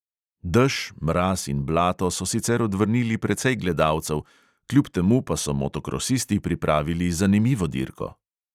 Dež, mraz in blato so sicer odvrnili precej gledalcev, kljub temu pa so motokrosisti pripravili zanimivo dirko.